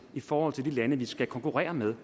i forhold til de lande vi skal konkurrere med